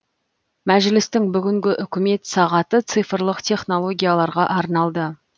мәжілістің бүгінгі үкімет сағаты цифрлық технологияларға арналды